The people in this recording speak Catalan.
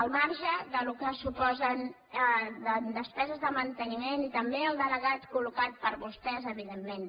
al marge del que suposen en despeses de manteniment i també el delegat col·locat per vostès evidentment